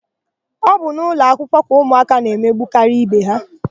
Ọ bụ n'ụlọakwụkwọ ka ụmụaka na-emegbukarị ibe ha.